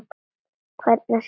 Hvernig sem ég ólmast.